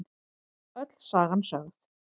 Öll sagan sögð